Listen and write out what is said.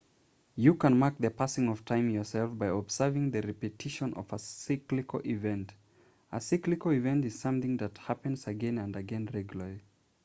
you can mark the passing of time yourself by observing the repetition of a cyclical event a cyclical event is something that happens again and again regularly